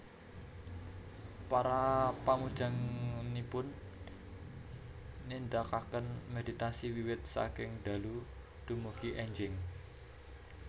Para pamujanipun nindakaken méditasi wiwit saking dalu dumugi énjing